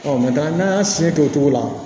n'an y'a siyɛn kɛ o cogo la